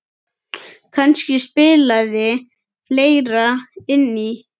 Kannski spilaði fleira inn í.